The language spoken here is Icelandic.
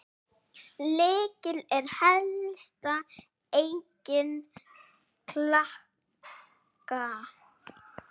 Lykill er helsta eign Klakka.